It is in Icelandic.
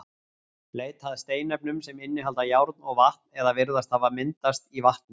Leita að steinefnum sem innihalda járn og vatn eða virðast hafa myndast í vatni.